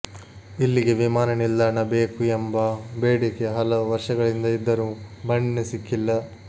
ಇಲ್ಲಿಗೆ ವಿಮಾನ ನಿಲ್ದಾಣ ಬೇಕು ಎಂಬ ಬೇಡಿಕೆ ಹಲವು ವರ್ಷಗಳಿಂದ ಇದ್ದರೂ ಮನ್ನಣೆ ಸಿಕ್ಕಿಲ್ಲ